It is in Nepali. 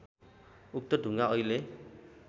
उक्त ढुङ्गा अहिले